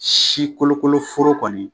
Si kolokolo foro kɔni